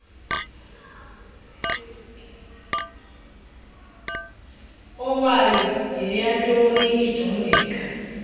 owayo yeyantoni ijongeka